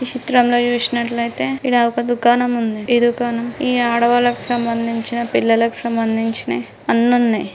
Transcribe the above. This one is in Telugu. ఈ చిత్రం లో చూసినట్లయితే ఈడ ఒక దుకాణం ఉందిఈ దుకాణం ఈ ఆడవాల్లకి సంబందించిన పిల్లలకి సంబందించిన అన్నీ ఉన్నాయి.